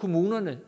kommunerne